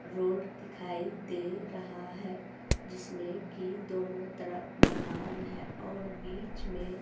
road दिखाई दे रहा है जिसमें की दोनों तरफ मकान है और बीच में--